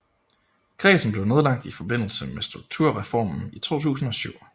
Kredsen blev nedlagt i forbindelse med Strukturreformen i 2007